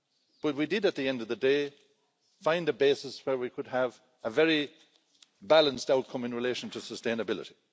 But we did, at the end of the day, find a basis where we could have a very balanced outcome in relation to sustainability.